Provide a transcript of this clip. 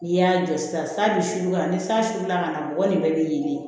N'i y'a jɔ sisan bi su ka ni san su la ka na mɔgɔ nin bɛɛ bɛ ɲini